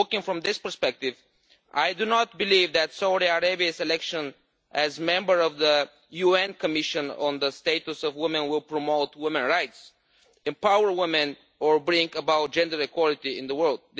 From this perspective, I do not believe that Saudi Arabia's election as a member of the UN Commission on the Status of Women will promote women's rights, empower women or bring about gender equality in the world.